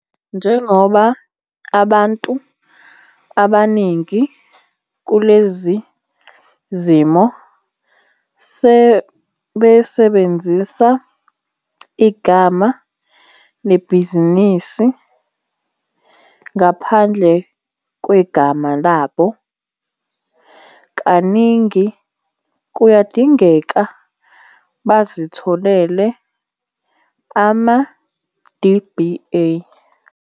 Njengoba abantu abaningi kulezi zimo besebenzisa igama lebhizinisi ngaphandle kwegama labo, kaningi kuyadingeka bazitholele ama-DBA.